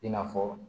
I n'a fɔ